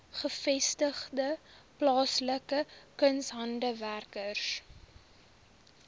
gevestigde plaaslike kunshandwerkers